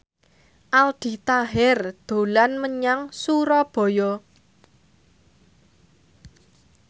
Aldi Taher dolan menyang Surabaya